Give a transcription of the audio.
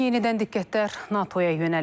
Yenidən diqqətlər NATO-ya yönəlib.